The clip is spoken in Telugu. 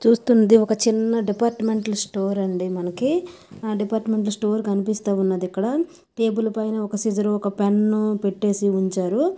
చూస్తుంది ఒక చిన్న డిపార్ట్ మెంటల్ స్టోరు అండి మనకి డిపార్ట్ మెంటల్ స్టోరు కనిపిస్తూ ఉన్నదీ ఇక్కడ టేబుల్ పైనా ఒక సీజరు ఒక పెన్ను పెట్టేసి ఉంచారు.